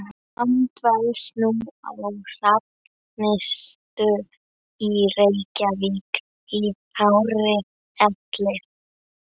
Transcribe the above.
Hann dvelst nú á Hrafnistu í Reykjavík í hárri elli.